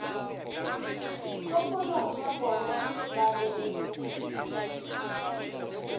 kgopolong ya bona ba be